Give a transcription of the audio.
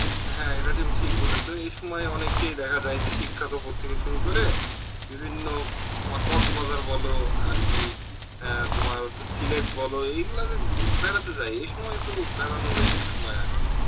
হ্যাঁ হ্যাঁ এটা তুমি ঠিক বলেছে এই সময় অনেককেই দেখা যায় যে থেকে সুরু করে বিভিন্ন, তোমার বাজার বল আরকি অ্যাঁ তোমার হচ্ছে সিলেট বল এই গুলা তে বেড়াতে যায়, এই সময় তো বেড়ানোর এ একটা সময় আরকি